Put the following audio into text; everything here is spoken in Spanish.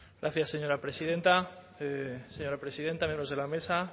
gracias señora presidenta señora presidenta miembros de la mesa